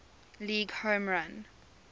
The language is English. league home run